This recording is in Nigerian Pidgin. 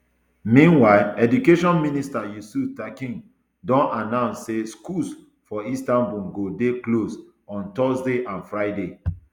meanwhile education minister yusuf tekin don announce say schools for istanbul go dey close on thursday and friday